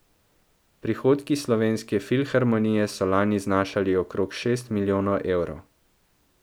Prihodki Slovenske filharmonije so lani znašali okroglih šest milijonov evrov.